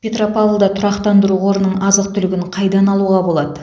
петропавлда тұрақтандыру қорының азық түлігін қайдан алуға болады